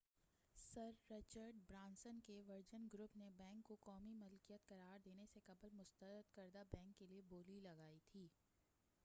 سر Richard Branson کے Virgin Group نے bank کو قومی ملکیت قرار دینے سے قبل مسترد کردہ بینک کیلئے بولی لگائی تھی